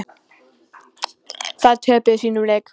Þær töpuðu sínum leik.